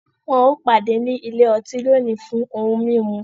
Wọn o pàdé ní ilé ọtí lóni fún ohùn mímú